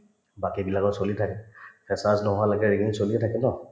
বাকিবিলাকৰ চলি থাকিল freshness নোহোৱালৈকে ragging চলিয়ে থাকে ন